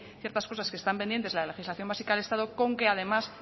ciertas cosas que están pendientes de la legislación básica del estado con que además